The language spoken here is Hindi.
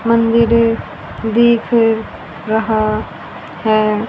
मंदिर दिख रहा है।